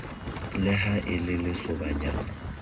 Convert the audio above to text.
le ha e le lesobanyana